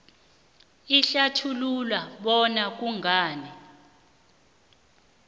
ehlathulula bona kungani